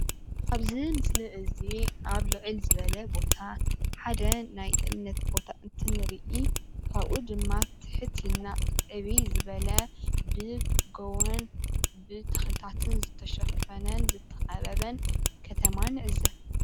ኣብዚ ምስሊ እዚ ኣብ ልዕል ዝበለ ቦታ ሓደ ናይ እምነት ቦታ እንትንርኢ ካብኡ ድማ ትሕት ኢልና ዕብይ ዝበለ ብጎቦን ብተክልታትን ዝተሸፈነን ዝተከበበን ከተማ ንዕዘብ።